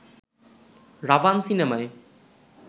'রাভান' সিনেমায়